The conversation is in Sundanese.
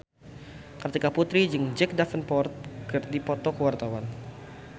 Kartika Putri jeung Jack Davenport keur dipoto ku wartawan